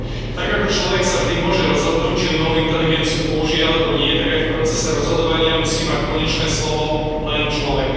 Tak, ako človek sa vždy môže rozhodnúť, či umelú inteligenciu použije alebo nie, tak aj v procese rozhodovania musí mať konečné slovo len človek.